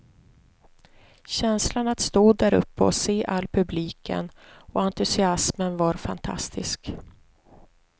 Känslan att stå däruppe och se all publiken och entusiasmen var fantastisk.